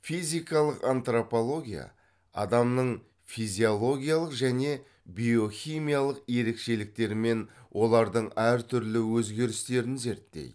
физикалық антрополгия адамның физиологиялық және биохимиялық ерекшеліктерімен олардың әртүрлі өзгерістерін зерттейді